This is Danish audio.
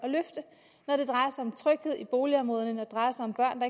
at det drejer sig om tryghed i boligområderne når det drejer sig om børn